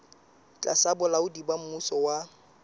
tlasa bolaodi ba mmuso wa